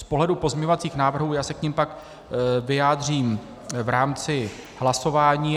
Z pohledu pozměňovacích návrhů - já se k nim pak vyjádřím v rámci hlasování.